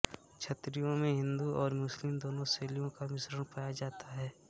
छतरियों में हिन्दू और मुस्लिम दोनों शैलियों का मिश्रण पाया जाता है